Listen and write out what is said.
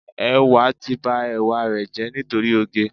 Ẹwà ti ba ẹwà rẹ̀ jẹ́ nítorí oge.